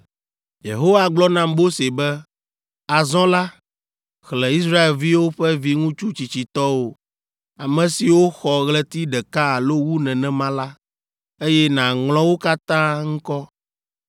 Yehowa gblɔ na Mose be, “Azɔ la, xlẽ Israelviwo ƒe viŋutsu tsitsitɔwo, ame siwo xɔ ɣleti ɖeka alo wu nenema la, eye nàŋlɔ wo katã ŋkɔ.